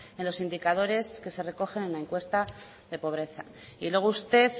en los indicadores que se recogen en la encuesta de pobreza y luego usted